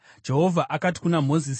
Jehovha akati kuna Mozisi,